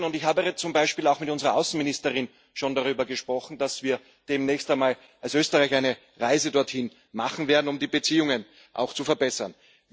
Ich habe zum Beispiel auch mit unserer Außenministerin schon darüber gesprochen, dass wir demnächst einmal als Österreicher eine Reise dorthin machen werden, um die Beziehungen zu verbessern.